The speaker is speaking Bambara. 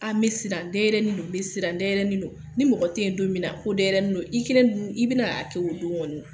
n be siran den yɛrɛni don, n be siran dɛ yɛrɛnin no. Ni mɔgɔ te ye don min na ko dɛ yɛrɛnin do i kelen dun i bɛna a kɛ o don ŋɔni na.